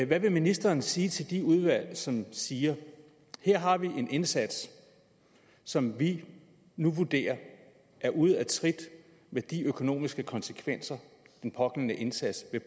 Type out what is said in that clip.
hvad vil ministeren sige til de udvalg som siger her har vi en indsats som vi nu vurderer er ude af trit med de økonomiske konsekvenser den pågældende indsats vil